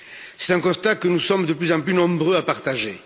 C'est un constat que nous sommes de plus en plus nombreux à partager.